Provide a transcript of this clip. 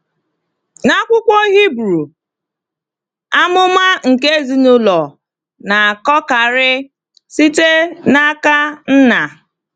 N’akwụkwọ Hebrew, amụma nke ezinụlọ na-akọkarị site n’aka nna.